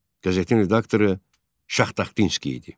Qəzetin redaktoru Şahtaxtinski idi.